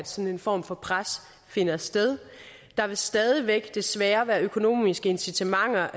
sådan form for pres finder sted der vil stadig væk desværre være økonomiske incitamenter